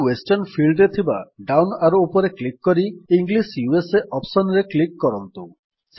ତେଣୁ western field ରେ ଥିବା ଡାଉନ୍ ଆରୋ ଉପରେ କ୍ଲିକ୍ କରି ଇଂଲିଶ ୟୁଏସଏ ଅପ୍ସନ୍ ରେ କ୍ଲିକ୍ କରନ୍ତୁ